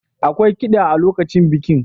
Akwai kida a lokacin bikin.